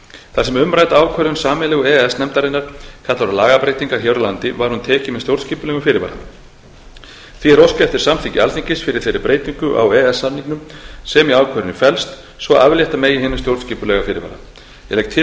þar sem umrædd ákvörðun sameiginlegu e e s nefndarinnar kallar á lagabreytingar hér á landi var hún tekin með stjórnskipulegum fyrirvara því er óskað eftir samþykki alþingis fyrir þeirri breytingu á e e s samningnum sem í ákvörðuninni felst svo aflétta megi hinum stjórnskipulega fyrirvara ég legg til